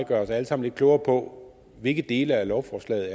gøre os alle sammen lidt klogere på hvilke dele af lovforslaget